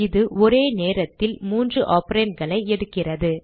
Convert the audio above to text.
இது ஒரே நேரத்தில் 3 operandகளை எடுக்கிறது